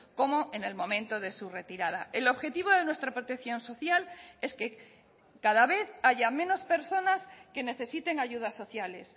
como en el momento de su retirada el objetivo de nuestra protección social es que cada vez haya menos personas que necesiten ayudas sociales